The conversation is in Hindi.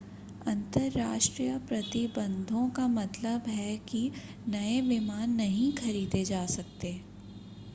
अंतर्राष्ट्रीय प्रतिबंधों का मतलब है कि नए विमान नहीं खरीदे जा सकते